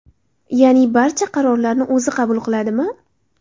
Ya’ni barcha qarorlarni o‘zi qabul qiladimi?